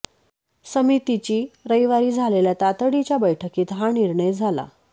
समितीची रविवारी झालेल्या तातडीच्या बैठकीत हा निर्णय झाला